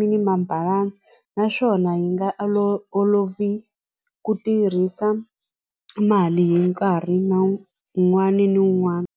minimam balance naswona yi nga olovi ku tirhisa mali hi nkarhi na un'wani ni un'wani.